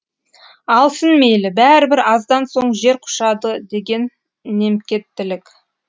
алсын мейлі бәрібір аздан соң жер құшады деген немкеттілік